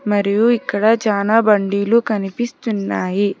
మరియు ఇక్కడ చానా బండీలు కనిపిస్తున్నాయి.